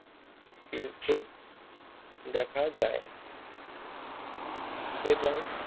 কিন্তু দেখা যায় এবং